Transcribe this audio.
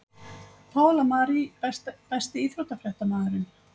Pála Marie Besti íþróttafréttamaðurinn?